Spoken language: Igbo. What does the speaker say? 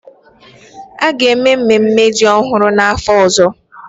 A ga-eme mmemme ji ọhụrụ n'afọ ọzọ?